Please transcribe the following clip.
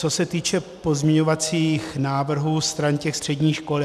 Co se týče pozměňovacích návrhů stran těch středních škol.